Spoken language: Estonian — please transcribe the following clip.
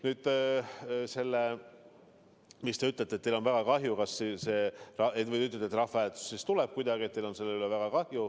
Nüüd see, et te ütlete, et teil on väga kahju, kui rahvahääletus tuleb.